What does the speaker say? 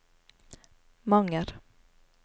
Manger